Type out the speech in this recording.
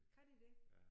Kan de det?